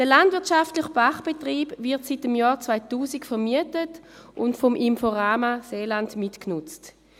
Der landwirtschaftliche Pachtbetrieb wird seit dem Jahr 2000 vermietet und vom Inforama Seeland mitgenutzt.